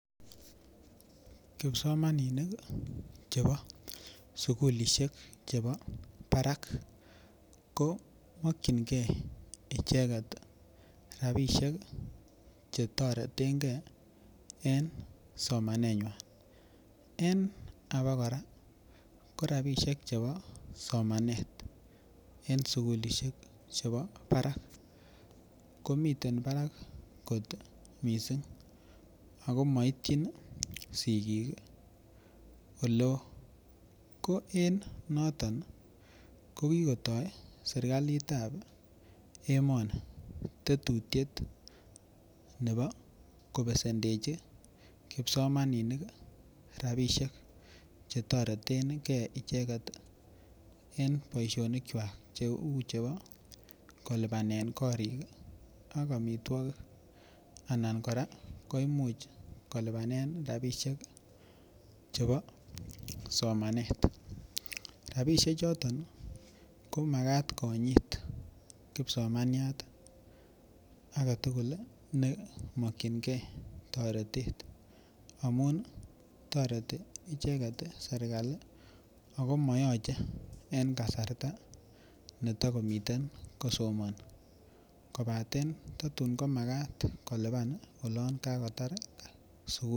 Kipsomaninik chebo sukulisiek chebo barak ko mokyingei icheget rabisiek Che toreten ge en somanenywan en abakora ko rabisiek chebo somanet en sukulisiek chebo barak komiten barak kot mising ako moityin sigik Oleo ko en noton ko kigotoi serkalit ab emoni Tetutiet nebo kobesendechi kipsomaninik rabisiek Che toreten ge icheget en boisionik kwak Cheu chebo kolipanen korik ak amitwogik Anan kora koimuch kolipanen rabisiek chebo somanet rabisiechoton komakat konyit kipsomanyat age tugul ne mokyingei toretet amun toreti icheget serkali ago moyoche en kasarta neta komiten kosomoni kobaten tatun komagat kolipan olon kakotar sukul